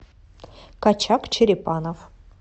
качак черепанов